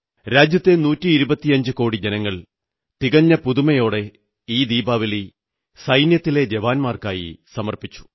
രാജ്യത്തെ നൂറ്റി ഇരുപത്തിയഞ്ചുകോടി ജനങ്ങൾ തികഞ്ഞ പുതുമയോടെ ഈ ദീപാവലി സൈന്യത്തിലെ ജവാന്മാർക്കായി സമർപ്പിച്ചു